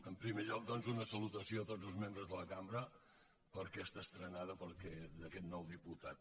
en primer lloc doncs una salutació a tots els membres de la cambra per aquesta estrena d’aquest nou diputat